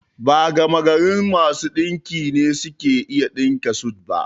Ba gamagarin masu ɗinki ne suke iya ɗinka sut ba